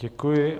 Děkuji.